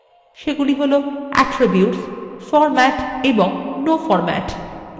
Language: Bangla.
সেগুলি হল attirbutes format এবং no format